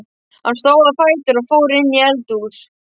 Hann stóð á fætur og fór inn í eldhús.